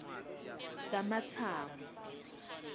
kamatsamo